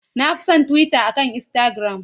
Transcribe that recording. Na fi son Twitter akan Instagram.